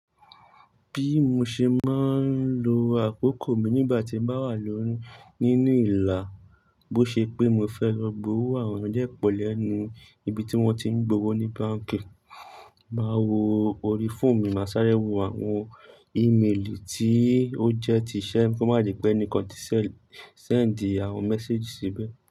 Bí mo ṣe máa ń lo àkókò mi nígbà tí mo wà lórí nínú ìlà, bó ṣe pé mo fẹ́ lọ gbowó àwọn eniyan de pọ̀ lẹ́nu ibi tí wọ́n ti ń gbowó ní báǹkì, máa wo orí fóònù mi, máa sáré wo àwọn ímeèlì tí ó jẹ́ ti iṣẹ́ kí ó má dipẹ́ enikan ti sẹ̀ sẹ́ẹ̀ndì àwọn mẹ́séjì síbẹ̀